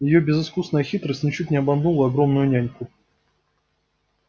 её безыскусная хитрость ничуть не обманула огромную няньку